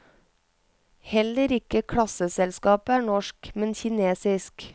Heller ikke klasseselskapet er norsk, men kinesisk.